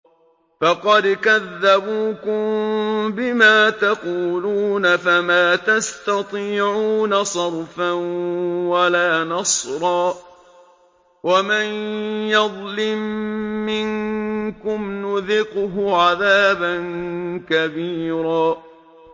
فَقَدْ كَذَّبُوكُم بِمَا تَقُولُونَ فَمَا تَسْتَطِيعُونَ صَرْفًا وَلَا نَصْرًا ۚ وَمَن يَظْلِم مِّنكُمْ نُذِقْهُ عَذَابًا كَبِيرًا